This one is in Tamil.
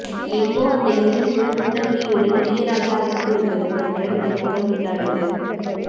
எங்கோ அந்த இருளினுள் புன்னகையுடன் இளையராஜா அமர்ந்திருப்பது போன்ற நெருக்கம் உண்டானது